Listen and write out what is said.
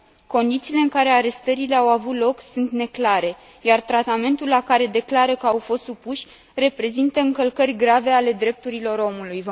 Condițiile în care arestările au avut loc sunt neclare, iar tratamentul la care declară că au fost supuși reprezintă încălcări grave ale drepturilor omului.